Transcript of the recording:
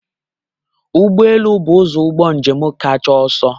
Ụgbọ elu bụ ụzọ ụgbọ njem kacha ọsọ.